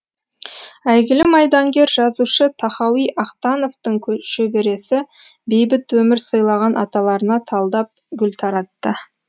әйгілі майдангер жазушы тахауи ахтановтың шөбересі бейбіт өмір сыйлаған аталарына талдап гүл таратты